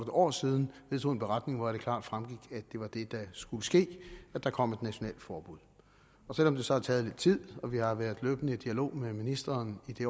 år siden vedtog en beretning hvoraf det klart fremgik at det var det der skulle ske at der kom et nationalt forbud selv om det så har taget lidt tid og vi har været i løbende dialog med ministeren i